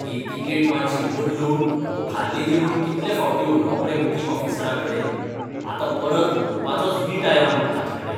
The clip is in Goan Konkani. ही तिकेट मात्शी बदलून मुखाल्ली दी म्हूण कितले फावटीं उलोवप रे बुकिंग ऑफिसराकडेन? आतां परत उलोवपाचोच वीट आयला म्हाका ताचेकडेन.